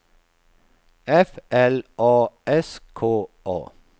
F L A S K A